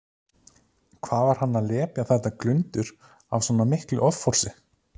Hvað var hann að lepja þetta glundur af svona miklu offorsi!